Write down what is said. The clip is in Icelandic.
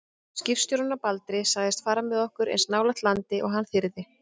Skipstjórinn á Baldri sagðist fara með okkur eins nálægt landi og hann þyrði.